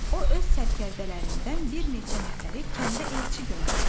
O öz sərkərdələrindən bir neçə nəfəri kəndə elçi göndərdi.